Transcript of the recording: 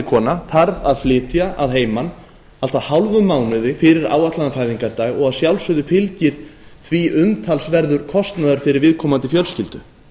kona þarf að flytja að heiman allt að hálfum mánuði fyrir áætlaðan fæðingardag og að sjálfsögðu fylgir því umtalsverður kostnaður fyrir viðkomandi fjölskyldu